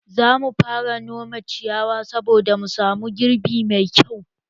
Zamu fara nome ciyawa saboda mu samu girbi mai kyau